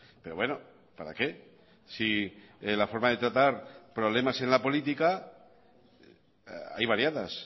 pero bueno para qué si la forma de tratar problemas en la política hay variadas